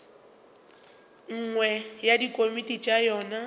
nngwe ya dikomiti tša yona